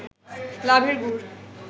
লাভের গুড়